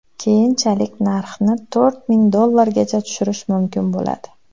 Keyinchalik narxni to‘rt ming dollargacha tushirish mumkin bo‘ladi.